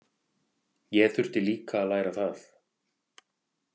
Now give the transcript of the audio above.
Ég þurfti líka að læra það.